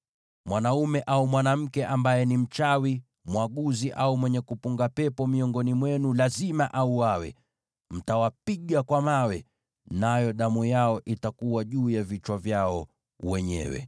“ ‘Mwanaume au mwanamke ambaye ni mchawi, mwaguzi au mwenye kupunga pepo miongoni mwenu lazima auawe. Mtawapiga kwa mawe; nayo damu yao itakuwa juu ya vichwa vyao wenyewe.’ ”